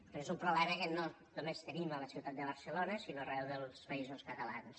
però és un problema que no només tenim a la ciutat de barcelona sinó arreu dels països catalans